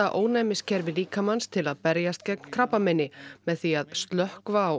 ónæmiskerfi líkamans til að berjast gegn krabbameini með því að slökkva á